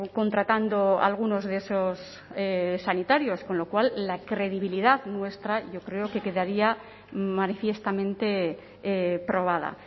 contratando a algunos de esos sanitarios con lo cual la credibilidad nuestra yo creo que quedaría manifiestamente probada